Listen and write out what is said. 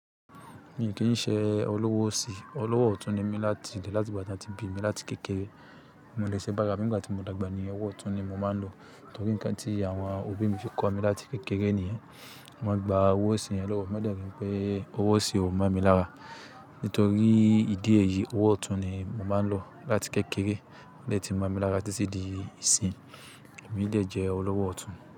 Mii kì í ṣe olówó osi, olówó ọ̀tún ni mí láti ìdí láti ìgbà tí won ti bí mi láti kékeré. Bi mo dè ṣe bá ara mi nígbà tí mo dàgbà ní owó ọ̀tún ni mo máa ń lò. Nítorí nǹkan tí àwọn òbí mi fi kọ́ mi láti kékeré nìyẹn. Wọ́n gba owó sí yen lówó mi, won de nipé owó osì ò mo mi lára. Nítorí ìdí èyí owó ọ̀tún ni mo máa ń lò láti kékeré lo de tí mo mi lára títí di ìsin. Èmi dè jẹ́ olówó ọ̀tún.